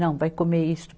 Não, vai comer isso.